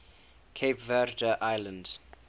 cape verde islands